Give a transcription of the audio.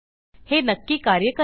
हे नक्की कार्य करेल